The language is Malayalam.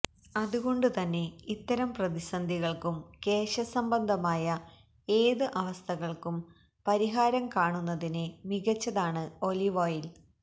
അതുകൊണ്ട് തന്നെ ഇത്തരം പ്രതിസന്ധികള്ക്കും കേശസംബന്ധമായ ഏത് അവസ്ഥകള്ക്കും പരിഹാരം കാണുന്നതിന് മികച്ചതാണ് ഒലീവ് ഓയില്